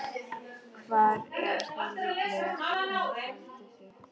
Hvar er þá líklegast að hún haldi sig?